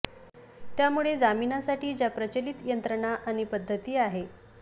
त्यामुळे जामिनासाठी ज्या प्रचलित यंत्रणा आणि पद्धती आहे